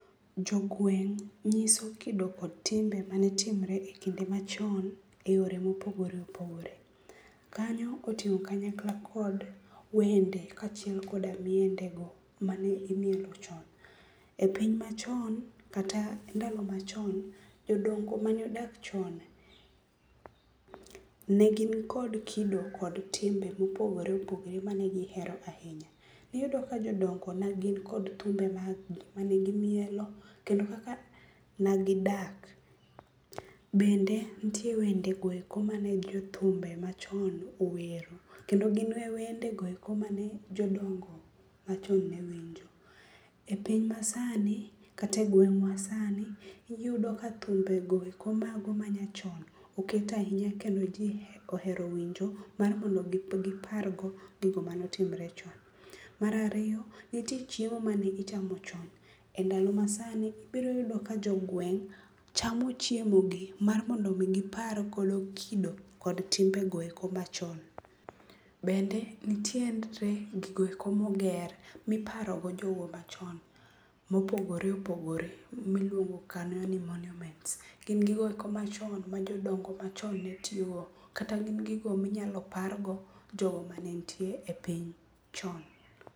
Jogueng' nyiso kido kod timbe mane timre ekinde machon eyore mopogore opogore. Kanyo oting'o kanyakla kod wende kaachiel kod miendego mane imielo chon. E piny machon kata ndalo machon, jodongo mane odak chon, ne gin kod kido kod timbe mopogore opogore mane gihero ahinya. Iyudo ka jodongo ne nikod thumbe mag gi mane gimielo, kendo kaka ne gidak, bende nitie wende goeko mane jothumbe machon owero kendo gin wendegoeko mane jodongo machon ne winjo. E piny masani, kata e gweng'wa sani iyudo ka thumbego eko mago manyachon, oket ahinya kendo ji ohero winjo, mar mondo gipargo gigo mane otimre chon. Mar ariyo, nitie chiemo mane gichamo chon. Endalo ma sani iboyudo ka jogueng' chamo chiemo gi mar mondo mi gipar godo kido kod timbego eko machon. Bende nitiere gigo eko moger miparogo jogo machon mopogore opogore miluongo kanyo ni monuments, gin gigo eko machon ma jodongo machon netiyogo kata gin gigo minyalo pargo jogo mane nitie e piny chon.